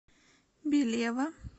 белева